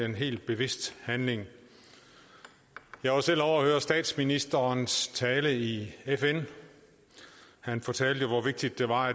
en helt bevidst handling jeg var selv ovre at høre statsministerens tale i fn og han fortalte hvor vigtigt det var